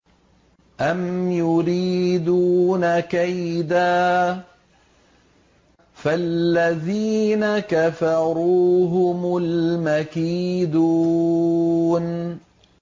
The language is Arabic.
أَمْ يُرِيدُونَ كَيْدًا ۖ فَالَّذِينَ كَفَرُوا هُمُ الْمَكِيدُونَ